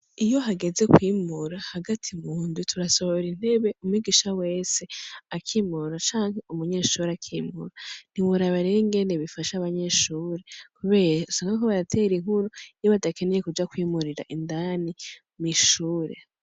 Iyo hageze kwimura hagati mu ndwi, turasohora intebe umwigisha wese akimura, canke umunyeshure akimura, ntiworaba rero ingene bifasha abanyeshure kubera usanga bariko baratera inkuru iyo badakeneye kuja kwimurira indani mw'ishure.